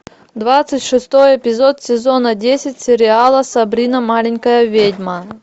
двадцать шестой эпизод сезона десять сериала сабрина маленькая ведьма